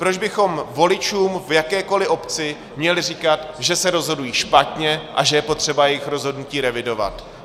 Proč bychom voličům v jakékoli obci měli říkat, že se rozhodují špatně a že je potřeba jejich rozhodnutí revidovat?